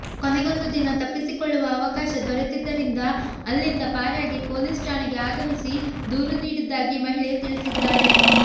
ಕೊನೆಗೊಂದು ದಿನ ತಪ್ಪಿಸಿಕೊಳ್ಳುವ ಅವಕಾಶ ದೊರೆತಿದ್ದರಿಂದ ಅಲ್ಲಿಂದ ಪಾರಾಗಿ ಪೊಲೀಸ್ ಠಾಣೆಗೆ ಆಗಮಿಸಿ ದೂರು ನೀಡಿದ್ದಾಗಿ ಮಹಿಳೆ ತಿಳಿಸಿದ್ದಾಳೆ